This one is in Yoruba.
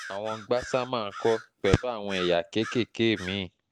àwọn gbasama ńkọ́ pẹ̀lú àwọn ẹ̀yà kéékèèké mí-ín